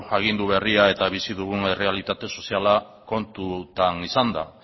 agindu berria eta bizi dugun errealitate soziala kontutan izanda